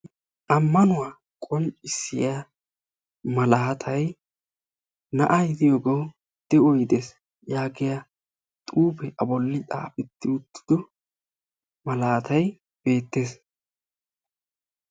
Amannuwa qonccisiya malatay na'ay de'iyogawu de'oy dees giyaage beettes.